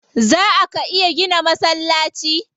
Zaa ka iya gina masallaci?